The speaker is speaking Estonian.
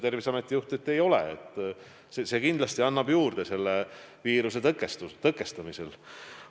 Terviseameti juht ütles, et ei ole, see kindlasti annab midagi juurde viiruse tõkestamisel.